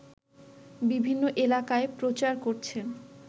বিভিন্ন এলাকায় প্রচার করছেন